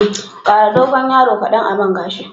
Ƙara dogon yaro kadan a man gashin.